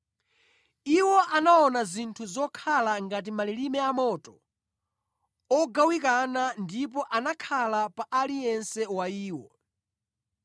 Iwo anaona zinthu zokhala ngati malilime amoto ogawikana ndipo anakhala pa aliyense wa iwo.